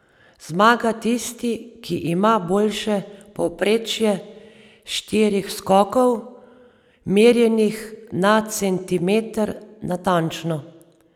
Zmaga tisti, ki ima boljše povprečje štirih skokov, merjenih na centimeter natančno.